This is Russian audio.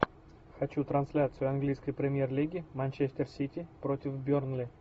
хочу трансляцию английской премьер лиги манчестер сити против бернли